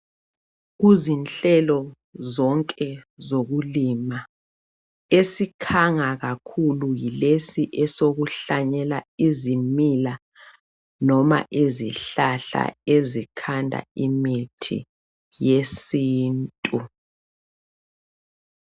Kuzinhlelo zonke zokulima, esikhanga kakhulu yilesi esokuhlanyela izimila lezihlahla ezikhanda imithi yesintu.